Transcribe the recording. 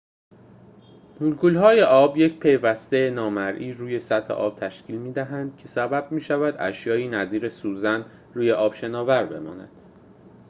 مولکول‌های آب یک پوسته نامرئی روی سطح آب تشکیل می‌دهد که سبب می‌شود اشیائی نظیر سوزن روی آب شناور بمانند